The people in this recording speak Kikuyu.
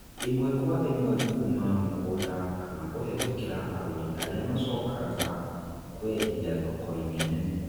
Īmwe Kwa ĩmwe Kuma mũgũnda kana kũhetukira agũri arĩa macokaga kuendia thokoinĩ nene